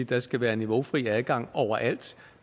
der skal være niveaufri adgang overalt